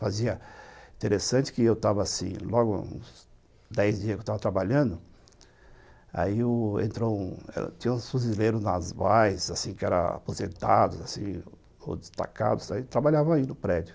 Fazia interessante que eu estava assim, logo, uns dez dias que eu estava trabalhando, aí tinha uns fuzileiros navais assim, que eram aposentados assim ou destacados, e trabalhavam aí no prédio.